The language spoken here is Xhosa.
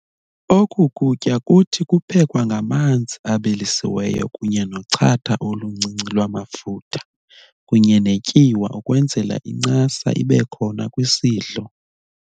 Oku kutya kuthi kuphekwa ngamanzi abilisiweyo kunye nochatha oluncinci lwamafutha kunye netyiwa ukwenzela incasa ibekhona kwisidlo.